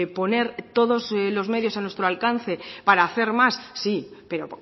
poner todos los medios a nuestro alcance para hacer más sí pero